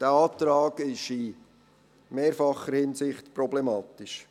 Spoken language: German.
Dieser Antrag ist in mehrfacher Hinsicht problematisch.